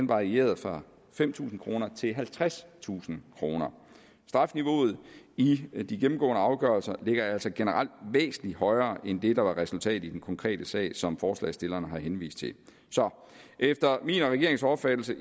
varierede fra fem tusind kroner til halvtredstusind kroner strafniveauet i de gennemgående afgørelser ligger altså generelt væsentlig højere end det der var resultatet i den konkrete sag som forslagsstillerne har henvist til så efter min og regeringens opfattelse